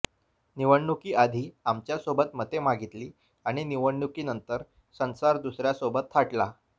निवडणुकी आधी आमच्यासोबत मते मागितली आणि निवडणुकीनंतर संसार दुसऱ्यासोबत थाटला